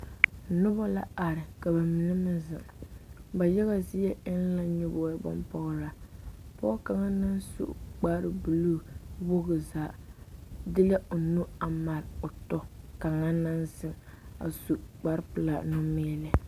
Noba la are ka mine meŋ zeŋ ba yaga zie eŋ la nyɔbogibonpɔgraa pɔge kaŋa meŋ su kparebulu wogi zaa de la o nu a mare o tɔ kaŋa naŋ zeŋ a su kparepelaa numeemɛ.